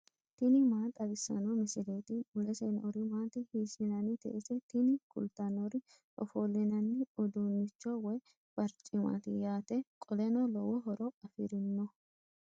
tini maa xawissanno misileeti ? mulese noori maati ? hiissinannite ise ? tini kultannori ofollinanni uduunnicho woy barcimaati yaate qoleno lowo horo afirinoho.